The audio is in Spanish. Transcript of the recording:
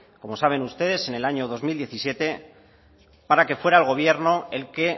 como saben ustedes en el año dos mil diecisiete para que fuera el gobierno el que